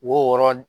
Wo wɔɔrɔ